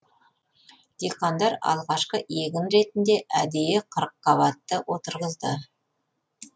диқандар алғашқы егін ретінде әдейі қырықабатты отырғызды